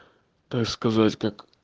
так сказать как